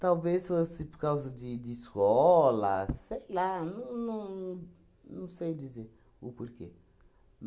Talvez fosse por causa de de escola, sei lá, não não não sei dizer o porquê.